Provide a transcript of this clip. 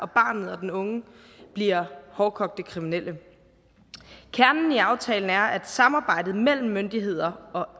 barnet og den unge bliver hårdkogte kriminelle kernen i aftalen er at samarbejdet mellem myndigheder og